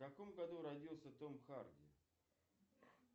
в каком году родился том харди